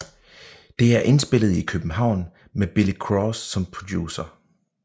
Det er indspillet i København med Billy Cross som producer